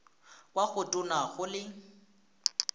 kwa go tona go le